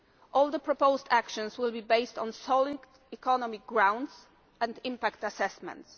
All the proposed actions will be based solid economic grounds and impact assessments.